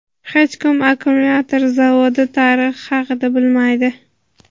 "Hech kim akkumulyator zavodi tarixi haqida bilmaydi".